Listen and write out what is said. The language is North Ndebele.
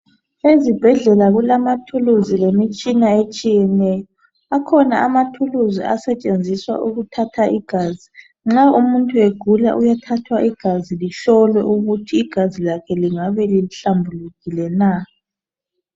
Ezibhedlela kulamathulusi lemitshina etshina etshiyeneyo akhona amathuluzi okuthatha igazi nxa umuntu egula uyathathwa igazi lingabe lihlambulukile na